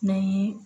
Na ye